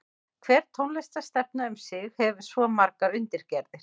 Hver tónlistarstefna um sig hefur svo margar undirgerðir.